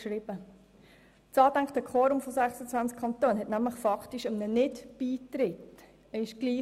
Das angedachte Quorum von 26 Kantonen kam nämlich faktisch einem Nicht-Beitritt gleich.